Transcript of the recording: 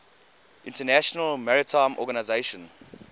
international maritime organization